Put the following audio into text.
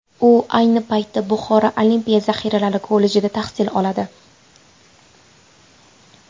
U ayni paytda Buxoro olimpiya zaxiralari kollejida tahsil oladi.